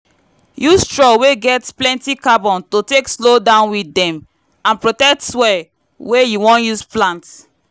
use straw wey get plenty carbon to take slow down weed dem and protect soil wey you wan use plant